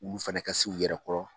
Olu fana ka si u yɛrɛ kɔrɔ.